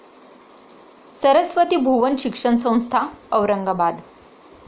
Saraswati Bhuvan Shikshan Sanstha, Aurangabad